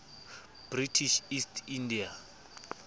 british east india